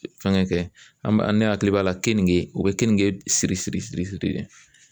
Fɛngɛ an ne hakili b'a la keninge o bɛ kenige siri siri siri siri